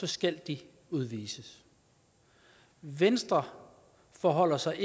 skal de udvises venstre forholder sig